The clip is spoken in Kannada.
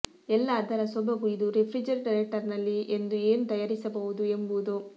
ಎಲ್ಲಾ ಅದರ ಸೊಬಗು ಇದು ರೆಫ್ರಿಜರೇಟರ್ನಲ್ಲಿ ಎಂದು ಏನು ತಯಾರಿಸಬಹುದು ಎಂಬುದು